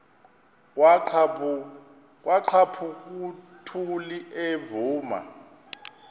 kwaqhaphuk uthuli evuma